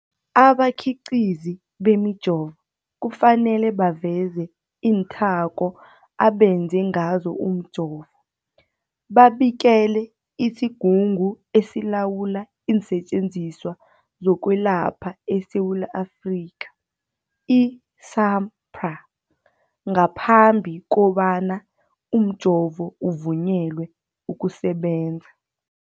Abakhiqizi bemijovo kufanele baveze iinthako abenze ngazo umjovo, babikele isiGungu esiLawula iinSetjenziswa zokweLapha eSewula Afrika, i-SAHPRA, ngaphambi kobana umjovo uvunyelwe ukusebenza.